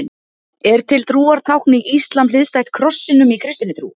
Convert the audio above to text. Er til trúartákn í íslam hliðstætt krossinum í kristinni trú?